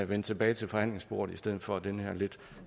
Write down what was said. vende tilbage til forhandlingsbordet i stedet for den her lidt